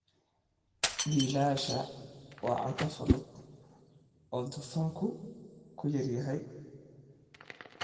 Biilasha waa cunto fudud oo dufanku ku yar yahay.